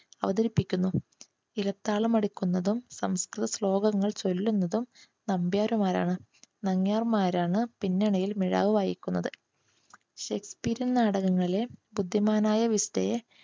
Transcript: അവതരിപ്പിക്കുന്നു. ഇലത്താളമടിക്കുന്നതും സംസ്കൃത ശ്ലോകങ്ങൾ ചൊല്ലുന്നതും നമ്പ്യാരുമാരാണ്. നങ്യാർ മാരാണ് പിന്നണിയിൽ മിഴാവ് വായിക്കുന്നത്. shakespearean നാടകങ്ങളെ ബുദ്ധിമാനായ വിസ്തയെ